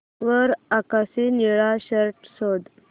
वर आकाशी निळा शर्ट शोध